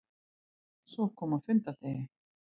Svo kom að fundardegi.